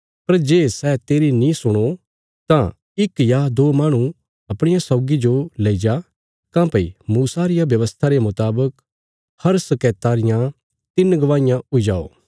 पर जे सै तेरी नीं सुणो तां इक या दो माहणु अपणिया सौगी जो लेईजा काँह्भई मूसा रिया व्यवस्था रे मुतावक हर शकैता रियां तिन्न गवाहियां हुई जाओ